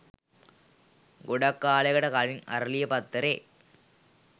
ගොඩක් කාලෙකට කලින් "අරලිය" පත්තරේ